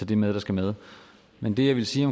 det med der skal med men det jeg ville sige